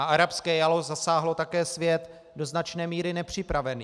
A arabské jaro zasáhlo také svět do značné míry nepřipravený.